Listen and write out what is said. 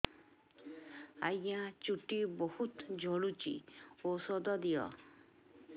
ଆଜ୍ଞା ଚୁଟି ବହୁତ୍ ଝଡୁଚି ଔଷଧ ଦିଅ